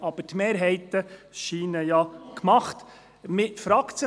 Aber die Mehrheiten scheinen gemacht zu sein.